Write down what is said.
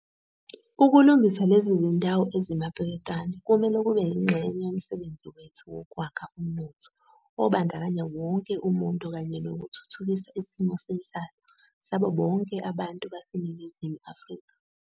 Ukulungisa lezi zindawo ezimapeketwane kumele kube yingxenye yomsebenzi wethu wokwakha umnotho obandakanya wonke umuntu kanye nokuthuthukisa isimo senhlalo sabo bonke abantu baseNingizimu Afrika.